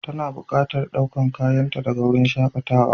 Tana buƙatar ɗaukar kayanta daga wurin shakatawa.